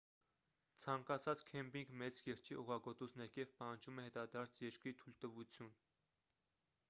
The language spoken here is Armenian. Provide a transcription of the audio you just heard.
ցանկացած քեմփինգ մեծ կիրճի օղագոտուց ներքև պահանջում է հետադարձ երկրի թույլատվություն